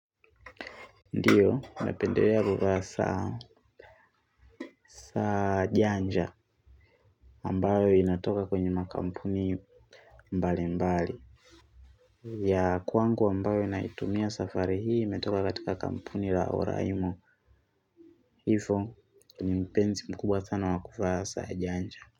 Ndio, napendelea kuvaa saa janja ambayo inatoka kwenye makampuni mbali mbali. Ya kwangu ambayo inaitumia safari hii imetoka katika kampuni la oraimo. Hifo ni mpenzi mkubwa sana wakuvaa saa janja.